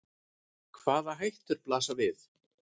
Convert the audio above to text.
Hvaða hættur blasa við?